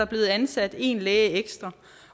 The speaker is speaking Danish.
blevet ansat en læge ekstra